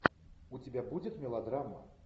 у тебя будет мелодрама